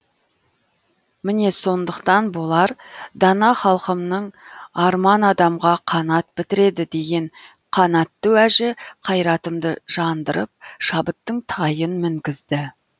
міне сондықтан болар дана халқымның арман адамға қанат бітіреді деген қанатты уәжі қайратымды жандырып шабыттың тайын мінгізді